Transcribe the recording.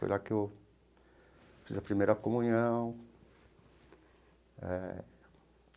Foi lá que eu fiz a primeira comunhão eh.